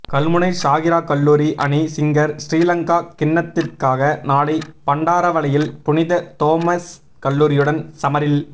கல்முனை ஸாகிராக்கல்லூரி அணி சிங்கர் ஸ்ரீலங்கா கிண்ணத்திற்காக நாளை பண்டாரவளையில் புனித தோமஸ் கல்லூரியுடன் சமரில்